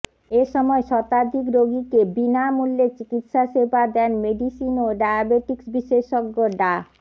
এ সময় শতাধিক রোগীকে বিনামূল্যে চিকিৎসা সেবা দেন মেডিসিন ও ডায়াবেটিকস বিশেষজ্ঞ ডা